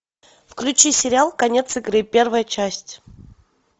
включи сериал конец игры первая часть